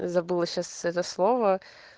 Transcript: забыла сейчас это слово